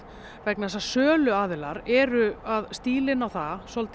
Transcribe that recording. vegna þess að söluaðilar eru að stíla inn á það